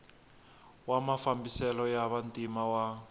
wa mafambiselo ya vantima wa